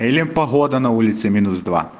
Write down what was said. или погода на улице минус два